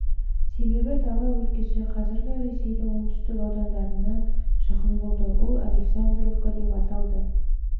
себебі дала өлкесі қазіргі ресейдің оңтүстік аудандарына жақын болды ол александровка деп аталды жылы тағы неміс